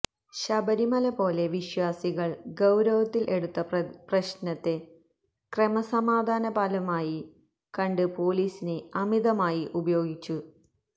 ശബരിമല പോലെ വിശ്വാസികള് ഗൌരവത്തില് എടുത്ത പ്രശ്നത്തെ ക്രമസമാധാന പാലനമായി കണ്ട് പോലീസിനെ അമിതമായി ഉപയോഗിച്ചു